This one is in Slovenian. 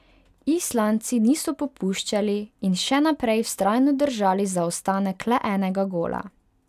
Islandci niso popuščali in še naprej vztrajno držali zaostanek le enega gola.